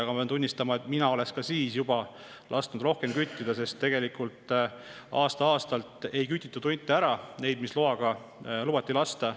Ma pean tunnistama, et mina oleksin juba siis lasknud rohkem küttida, sest tegelikult aasta-aastalt ei kütitud ära neid hunte, mis loaga lubati lasta.